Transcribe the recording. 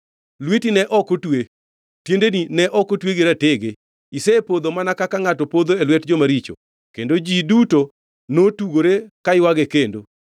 Lweti ne ok otwe, tiendeni ne ok otwe gi ratege. Isepodho mana kaka ngʼato podho e lwet joma richo.” Kendo ji duto notugore ka ywage kendo.